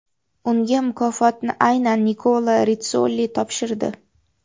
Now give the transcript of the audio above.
Unga mukofotni aynan Nikola Ritssoli topshirdi.